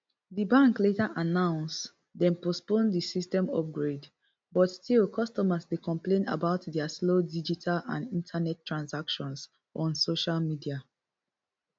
di bank later announce dem postpone di system upgrade but still customers dey complain about dia slow digital and internet transactions on social media